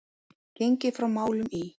Gengið frá málum í